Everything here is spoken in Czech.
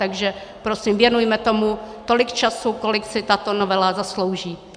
Takže prosím, věnujme tomu tolik času, kolik si tato novela zaslouží.